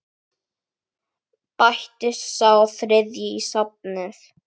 Bætist sá þriðji í safnið?